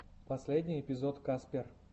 последний эпизод каспер